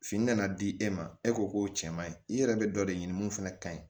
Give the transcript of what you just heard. Fini nana di e ma e ko k'o cɛ man ɲi i yɛrɛ bɛ dɔ de ɲini mun fana ka ɲi